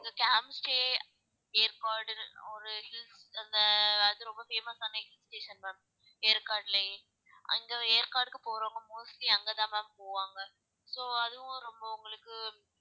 camp stay ஏற்காடில் ஒரு hills அந்த அது ரொம்ப famous ஆன hill station ma'am ஏற்காடுலயே அங்க ஏற்காடுக்கு போறவங்க mostly அங்க தான் ma'am போவாங்க so அதுவும் ரொம்ப உங்களுக்கு